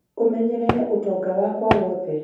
ũmenyerere ũtonga wakwa wothe